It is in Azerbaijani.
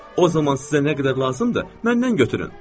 O zaman sizə nə qədər lazımdır, məndən götürün.